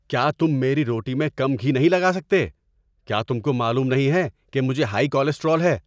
کیا تم میری روٹی میں کم گھی نہیں لگا سکتے؟ کیا تم کو معلوم نہیں ہے کہ مجھے ہائی کولیسٹرول ہے؟